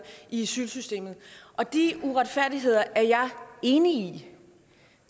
i asylsystemet og de uretfærdigheder er jeg enig i